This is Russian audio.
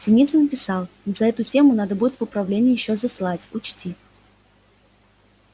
синицын писал за эту тему надо будет в управление ещё заслать учти